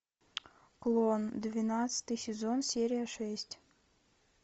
клон двенадцатый сезон серия шесть